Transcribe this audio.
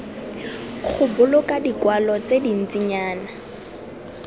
go boloka dikwalo tse dintsinyana